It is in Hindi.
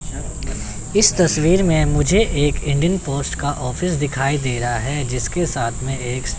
इस तस्वीर में मुझे एक इंडियन पोस्ट का ऑफिस दिखाई दे रहा है जिसके साथ में एक--